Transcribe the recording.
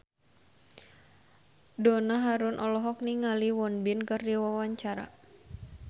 Donna Harun olohok ningali Won Bin keur diwawancara